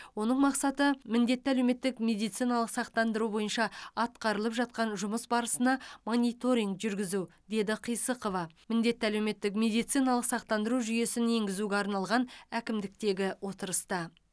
оның мақсаты міндетті әлеуметтік медициналық сақтандыру бойынша атқарылып жатқан жұмыс барысына мониторинг жүргізу деді қисықова міндетті әлеуметтік медициналық сақтандыру жүйесін енгізуге арналған әкімдіктегі отырыста